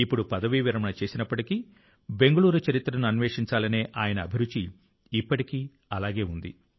ఇప్పుడు పదవీ విరమణ చేసినప్పటికీ బెంగళూరు చరిత్రను అన్వేషించాలనే ఆయన అభిరుచి ఇప్పటికీ సజీవంగా ఉంది